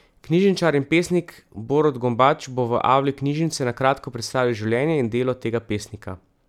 Knjižničar in pesnik Borut Gombač bo v avli knjižnice na kratko predstavil življenje in delo tega pesnika.